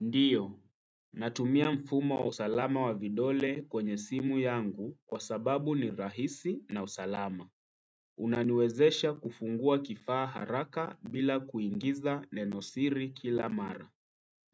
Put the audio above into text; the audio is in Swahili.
Ndiyo, natumia mfumo wa usalama wa vidole kwenye simu yangu kwa sababu ni rahisi na usalama. Unaniwezesha kufungua kifaa haraka bila kuingiza neno siri kila mara.